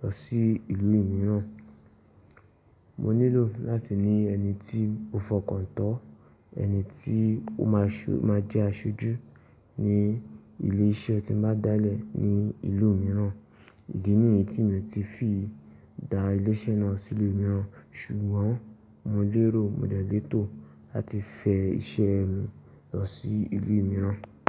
lọ sí ìlú mìíràn. Mo nílò láti ní ẹni tí mo fọkàntán, ẹni tí ó máa jẹ́ aṣojú ní ilé iṣẹ́ tí mo bá dálẹ̀ ní ìlú mìíràn. Ìdí nìyí tí mi ò ti fi dá ilé iṣẹ́ náà sí ìlú mìíràn. Ṣùgbọ́n mo lérò mo de lètò láti fẹ́ iṣẹ́ mi lọ sí ìlú mìíràn.